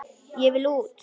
Ég vil út!